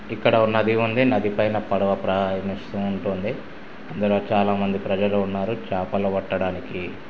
ఇక్కడ ఒక నది ఉంది నది పైన పడవ ప్రయాణిస్తుంటుంది అందులో చాలా మంది ప్రజలు ఉన్నారు చేపలు పట్టడానికి--